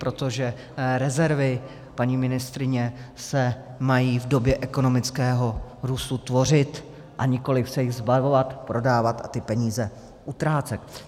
Protože rezervy, paní ministryně, se mají v době ekonomického růstu tvořit, a nikoliv se jich zbavovat, prodávat a ty peníze utrácet.